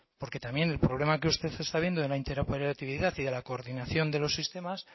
porque también el problema que usted está viendo de la interoperatividad y de la coordinación de los sistemas